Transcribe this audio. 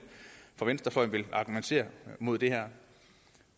fra venstrefløjen vil argumentere imod det her